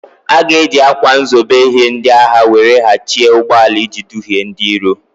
A ga-eji ákwà nzobe ihe ndị agha were ghachie ụgbọala iji dughie ndị iro.